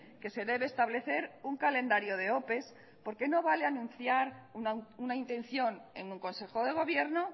que se debe establecer un calendario de ope porque no vale anunciar una intención en un consejo de gobierno